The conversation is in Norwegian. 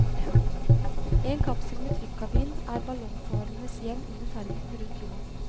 En kapsel med trykkabin er ballongfarernes hjem under ferden rundt jorden.